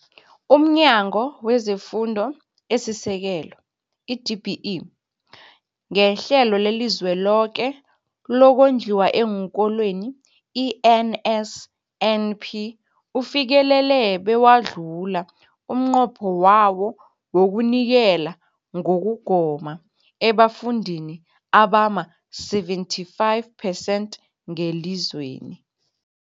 UmNyango wezeFundo esiSekelo, i-DBE, ngeHlelo leliZweloke lokoNdliwa eenKolweni, i-NSNP, ufikelele bewadlula umnqopho wawo wokunikela ngokugoma ebafundini abama-75 phesenthi ngelizweni.